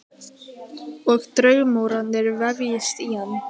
Og draumórarnir vefjast inn í hann.